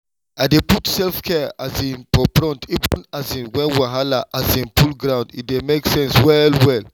i dey put self-care um for front even um when wahala um full ground—e dey make sense well well.